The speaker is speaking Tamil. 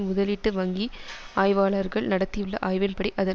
முதலீட்டு வங்கி ஆய்வாளர்கள் நடத்தியுள்ள ஆய்வின்படி அதன்